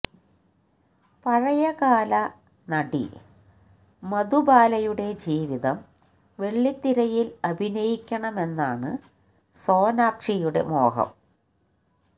പഴയകാല നടി മധുബാലയുടെ ജീവിതം വെള്ളിത്തിരയില് അഭിനയിക്കണമെന്നാണ് സോനാക്ഷിയുടെ മോഹം